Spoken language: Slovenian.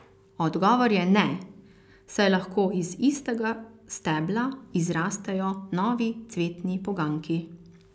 Odgovor je ne, saj lahko iz istega stebla izrastejo novi cvetni poganjki.